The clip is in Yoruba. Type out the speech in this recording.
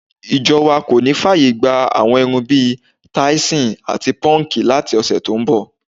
Ìjo̩ wa kò ní fáàyè gba àwo̩n irun bi táìsò̩n àti pó̩nǹkì láti ò̩sè̩ tó ń bò̩.